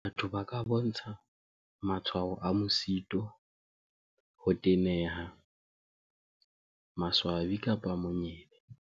"Batho ba ka bontsha matshwao a mosito, ho teneha, maswabi kapa monyebe."